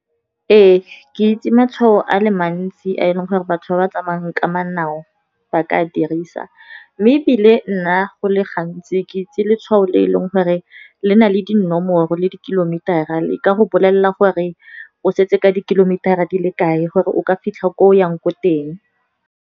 Ee, ke itse matshwao a le mantsi a e leng gore batho ba ba tsamayang ka manao ba ka a dirisa. Mme ebile nna go le gantsi ke itse letshwao le e leng gore le na le dinomoro, le di kilometer-a le ka go bolelela gore o setse ka di-kilometer-a di le kae, gore o ka fitlha ko o yang ko teng.